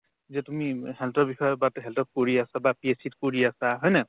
যে তুমি health ৰ বিষয়ে but health ত কৰি আছা বা PSC ত কৰি আছা হয়নে নাই